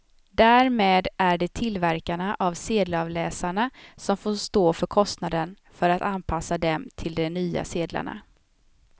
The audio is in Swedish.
Därmed är det tillverkarna av sedelavläsarna som får stå för kostnaden för att anpassa dem till de nya sedlarna.